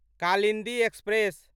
Kalindi express